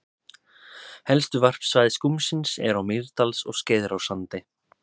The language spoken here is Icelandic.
Helstu varpsvæði skúmsins eru á Mýrdals- og Skeiðarársandi.